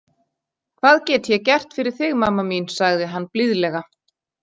Hvað get é gert fyrir þig mamma mín, saði hann blíðlega.